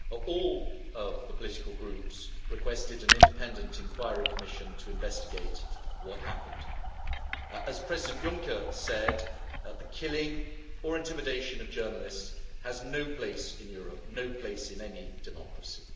All of the political groups requested an independent inquiry commission to investigate what happened. As President Juncker said, the killing or intimidation of journalists has no place in Europe, no place in any democracy.